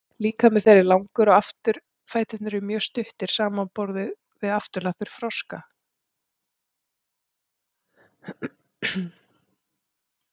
líkami þeirra er langur og afturfæturnir eru mjög stuttir samanborið við afturlappir froska